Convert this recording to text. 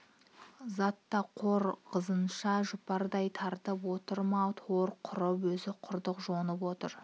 зат та хор қызынша жұпардай тарап отыр ма тор құрып өзі құрық жонып отыр